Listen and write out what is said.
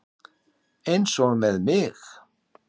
Eins og með mig.